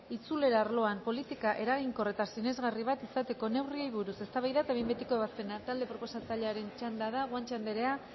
itzulera arloan politika eraginkor eta sinesgarri bat izateko neurriei buruz eztabaida eta behin betiko ebazpena talde proposatzailearen txanda da guanche anderea